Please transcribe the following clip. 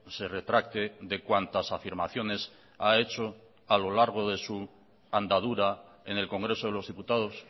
se retracte de cuantas afirmaciones ha hecho a lo largo de su andadura en el congreso de los diputados